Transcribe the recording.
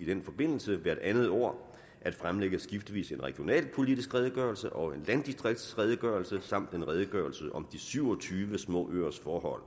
i den forbindelse hvert andet år at fremlægge skiftevis en regionalpolitisk redegørelse og landdistriksredegørelse samt en redegørelse om de syv og tyve små øers forhold